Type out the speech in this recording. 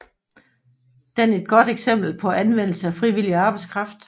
Den et godt eksempel på anvendelse af frivillig arbejdskraft